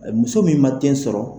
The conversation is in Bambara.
Muso min ma den sɔrɔ.